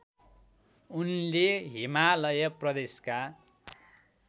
उनले हिमालय प्रदेशका